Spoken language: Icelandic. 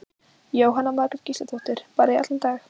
Jóhanna Margrét Gísladóttir: Bara í allan dag?